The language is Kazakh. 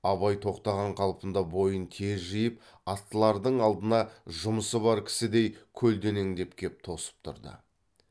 абай тоқтаған қалпында бойын тез жиып аттылардың алдына жұмысы бар кісідей көлденеңдеп кеп тосып тұрды